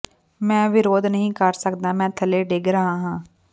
ਮੈਂ ਵਿਰੋਧ ਨਹੀਂ ਕਰ ਸਕਦਾ ਮੈਂ ਥੱਲੇ ਡਿੱਗ ਰਿਹਾ ਹਾਂ